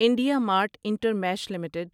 India mart intermesh limited